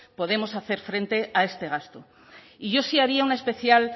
podemos hacer frente a este gasto y yo sí haría una especial